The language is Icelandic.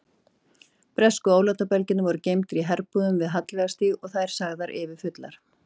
Bresku ólátabelgirnir voru geymdir í herbúðum við Hallveigarstíg og þær sagðar yfirfullar.